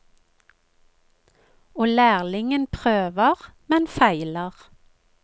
Og lærlingen prøver, men feiler.